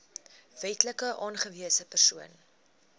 wetlik aangewese persoon